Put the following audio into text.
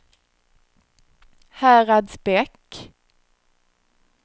Häradsbäck